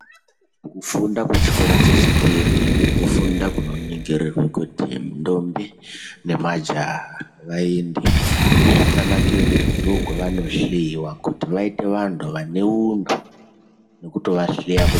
Kufunda kwechikora chechipiri, kufunda kunoningirirwa kuti ndombi majaha vaende, zvakanakire kuti ndokwavanohleiwa kuti vaite vantu vane untu nekutovahleya kuti ...........